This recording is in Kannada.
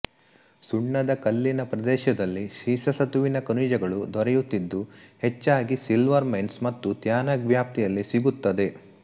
ಸುಣ್ಣದ ಕಲ್ಲಿನ ಪ್ರದೇಶದಲ್ಲಿ ಸೀಸಸತುವಿನ ಖನಿಜಗಳು ದೊರೆಯುತ್ತಿದ್ದು ಹೆಚ್ಚಾಗಿ ಸಿಲ್ವರ್ ಮೈನ್ಸ್ ಮತ್ತು ತ್ಯಾನಘ್ ವ್ಯಾಪ್ತಿಯಲ್ಲಿ ಸಿಗುತ್ತದೆ